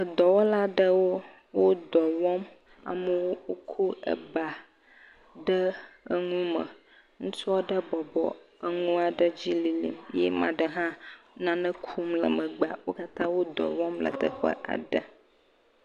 dɔwɔla ɖewo le dɔwɔm amaɖewo kó ebà ɖe eŋu me ŋutsua ɖe bɔbɔ eŋua ɖe dzi lilim eɖe hã nane kum le megbea wókatã wó dɔwɔm le teƒea